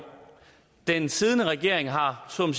den siddende regering har så